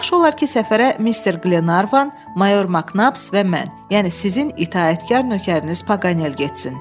Yaxşı olar ki, səfərə Mister Qlenarvan, mayor Maknaps və mən, yəni sizin itaətkar nökəriniz Paganel getsin.